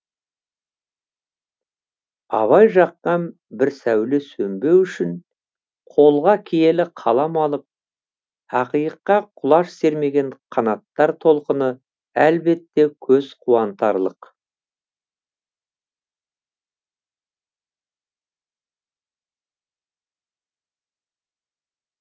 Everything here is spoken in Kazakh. абай жаққан бір сәуле сөнбеу үшін қолға киелі қалам алып ақиыққа құлаш сермеген қанаттар толқыны әлбетте көз қуантарлық